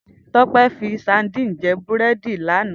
Tope fi sádìn jè búrèdí làná